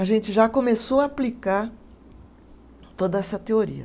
A gente já começou a aplicar toda essa teoria.